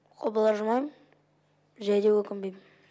қобалыжымайм және де өкінбеймін